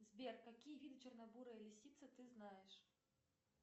сбер какие виды чернобурая лисица ты знаешь